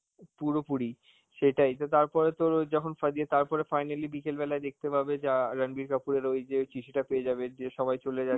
পুরোপুরি, সেটাই তো তারপরে তোর ওই যখন ফা দিয়ে~ তারপরে finally বিকেল বেলায় দেখতে পাবে যে অ্যাঁ রাণবীর কাপুরের ওই যে চিঠিটা পেয়ে যাবে যে সবাই চলে যাচ্ছে